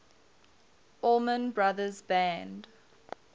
allman brothers band